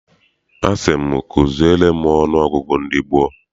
Asị m zuziere m ọnụ ọgụgụ ndị gboo.